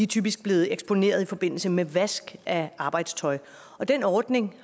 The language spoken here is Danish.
typisk blevet eksponeret i forbindelse med vask af arbejdstøj og den ordning